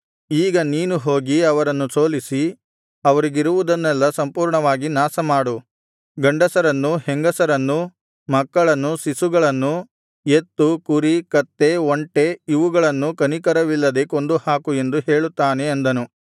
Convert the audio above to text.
ಈಗ ನೀನು ಹೋಗಿ ಅವರನ್ನು ಸೋಲಿಸಿ ಅವರಿಗಿರುವುದನ್ನೆಲ್ಲಾ ಸಂಪೂರ್ಣವಾಗಿ ಹಾಳುಮಾಡು ಗಂಡಸರನ್ನೂ ಹೆಂಗಸರನ್ನೂ ಮಕ್ಕಳನ್ನೂ ಶಿಶುಗಳನ್ನೂ ಎತ್ತು ಕುರಿ ಕತ್ತೆ ಒಂಟೆ ಇವುಗಳನ್ನೂ ಕನಿಕರವಿಲ್ಲದೆ ಕೊಂದುಹಾಕು ಎಂದು ಹೇಳುತ್ತಾನೆ ಅಂದನು